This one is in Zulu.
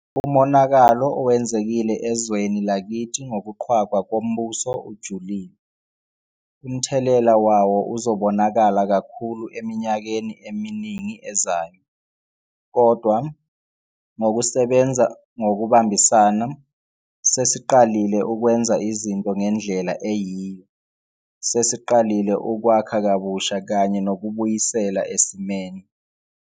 Umonakalo owenzekile ezweni lakithi ngokuqhwagwa kombuso ujulile. Umthelela wawo uzobonakala kakhulu eminyakeni eminingi ezayo. Kodwa, ngokusebenza ngokubambisana, sesiqalile ukwenza izinto ngendlela eyiyo. Sesiqalile ukwakha kabusha kanye nokubuyisela esimeni.